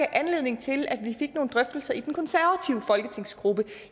anledning til at vi fik nogle drøftelser i den konservative folketingsgruppe